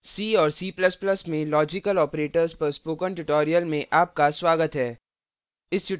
c और c ++ में logical operators logical operators पर spoken tutorial में आपका स्वागत है